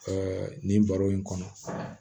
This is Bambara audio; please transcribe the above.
nin baro in kɔnɔ